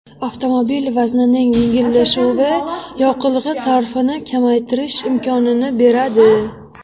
Avtomobil vaznining yengillashuvi yoqilg‘i sarfini kamaytirish imkonini beradi.